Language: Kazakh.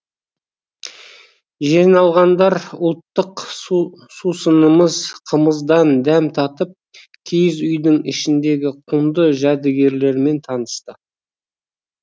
жиналғандар ұлттық сусынымыз қымыздан дәм татып киіз үйдің ішіндегі құнды жәдігерлермен танысты